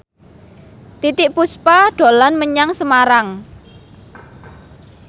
Titiek Puspa dolan menyang Semarang